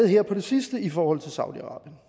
her på det sidste i forhold til saudi arabien